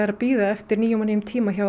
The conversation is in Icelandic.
að bíða eftir nýjum og nýjum tíma hjá